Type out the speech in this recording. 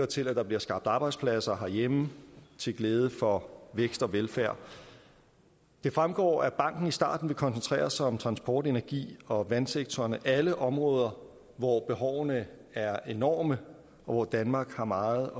til at der bliver skabt arbejdspladser herhjemme til glæde for vækst og velfærd det fremgår at banken i starten vil koncentrere sig om transport energi og vandsektoren alle områder hvor behovene er enorme og hvor danmark har meget